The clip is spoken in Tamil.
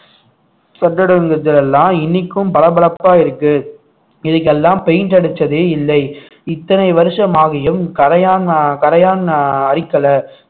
இன்னைக்கும் பளபளப்பா இருக்கு இதுக்கெல்லாம் paint அடிச்சதே இல்லை இத்தனை வருஷம் ஆகியும் கரையான் ஆஹ் கரையான் ஆஹ் அரிக்கலை